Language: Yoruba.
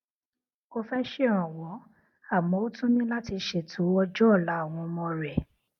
ó fé ṣèrànwó àmó ó tún ní láti ṣeto ọjó òla àwọn ọmọ rè